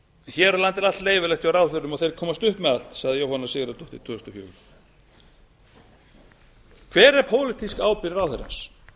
hér á landi er allt leyfilegt hjá ráðherrum og þeir komast upp með allt sagði jóhanna sigurðardóttir árið tvö þúsund og fjögur hver er pólitísk ábyrgð ráðherrans